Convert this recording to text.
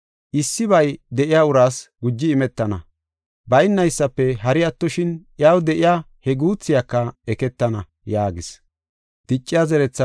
Issibay de7iya uraas guji imetana, baynaysafe hari attoshin, iyaw de7iya he guuthiyaka eketana” yaagis.